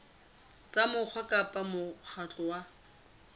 tsa mokgatlo kapa mokgatlo wa